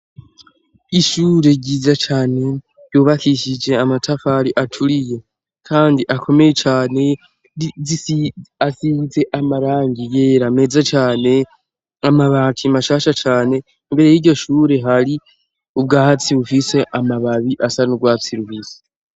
Ishure ryiza cane ryubakishije amatafari aturiye kandi akomeye cane asize amarangi yera meza cane amabati mashasha cane imbere y'iryo shure hari ubwatsi bufise amababi asa n'urwatsi rubisi.